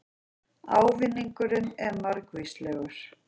Ávinningurinn er margvíslegur